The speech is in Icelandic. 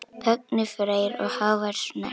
Högni Freyr og Hávar Snær.